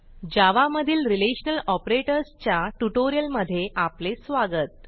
जावा मधील relational operators च्या ट्युटोरियलमध्ये आपले स्वागत